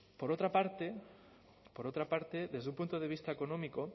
por otra parte por otra parte desde un punto de vista económico